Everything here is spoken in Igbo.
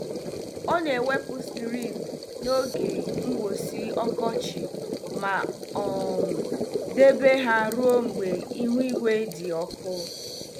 Ọ na-ewepụ skrini n'oge mgbụsị ọkọchị ma um debe ha ruo mgbe ịhụ ígwè dị ọkụ.